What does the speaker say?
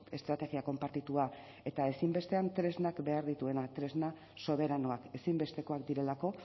estrategia konpartitua eta ezinbestean tresnak behar dituena tresna soberanoak ezinbestekoak direlako